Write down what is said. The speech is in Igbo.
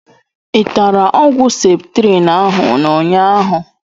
I tara ọgwụ septrin ahụ n'ụnyaahụ?